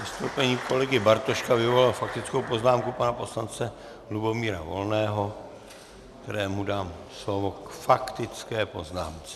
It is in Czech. Vystoupení kolegy Bartoška vyvolalo faktickou poznámku pana poslance Lubomíra Volného, kterému dám slovo k faktické poznámce.